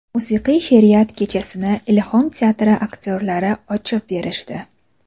Musiqiy she’riyat kechasini Ilhom teatri aktyorlari ochib berishdi.